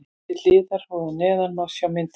Hér til hliðar og að neðan má sjá myndir.